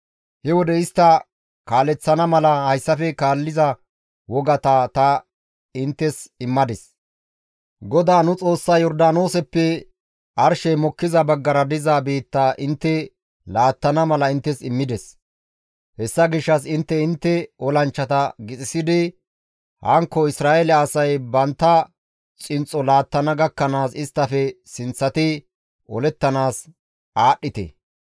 He wode istta kaaleththana mala hayssafe kaalliza wogata ta inttes immadis; GODAA nu Xoossay Yordaanooseppe arshey mokkiza baggara diza biitta intte laattana mala inttes immides; hessa gishshas intte intte olanchchata gixisidi hankko Isra7eele asay bantta xinxxo laattana gakkanaas isttafe sinththati olettanaas aadhdhite.